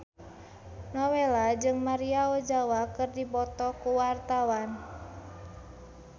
Nowela jeung Maria Ozawa keur dipoto ku wartawan